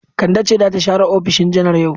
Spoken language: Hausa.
Kande ce za ta share ofishin janar yau.